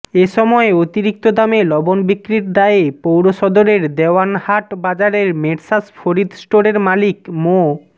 এ সময় অতিরিক্ত দামে লবণ বিক্রির দায়ে পৌরসদরের দেওয়ানহাট বাজারের মেসার্স ফরিদ স্টোরের মালিক মো